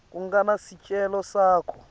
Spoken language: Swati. kungani sicelo sakho